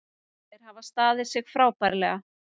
Þeir hafa staðið sig frábærlega